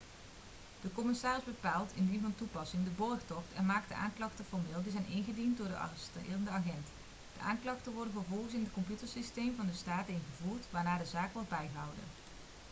de commissaris bepaalt indien van toepassing de borgtocht en maakt de aanklachten formeel die zijn ingediend door de arresterende agent de aanklachten worden vervolgens in het computersysteem van de staat ingevoerd waarna de zaak wordt bijgehouden